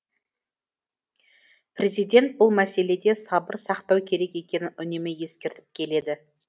президент бұл мәселеде сабыр сақтау керек екенін үнемі ескертіп келеді